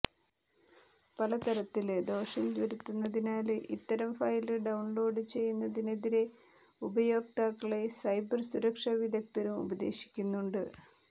പല തരത്തില് ദോഷം വരുത്തുന്നതിനാല് ഇത്തരം ഫയല് ഡൌണ്ലോഡ് ചെയ്യുന്നതിനെതിരെ ഉപയോക്താക്കളെ സൈബര് സുരക്ഷ വിദഗ്ധരും ഉപദേശിക്കുന്നത്